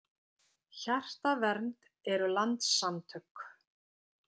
Hjartavernd eru landssamtök.